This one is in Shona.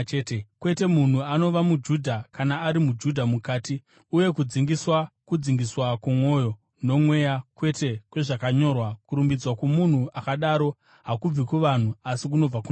Kwete, munhu anova muJudha kana ari muJudha mukati, uye kudzingiswa kwomwoyo, noMweya, kwete kwezvakanyorwa. Kurumbidzwa kwomunhu akadaro hakubvi kuvanhu, asi kunobva kuna Mwari.